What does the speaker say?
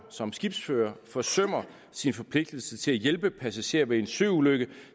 som skibsfører forsømmer sin forpligtelse til at hjælpe passagerer ved en søulykke